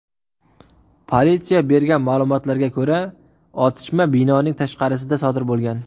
Politsiya bergan ma’lumotlarga ko‘ra, otishma binoning tashqarisida sodir bo‘lgan.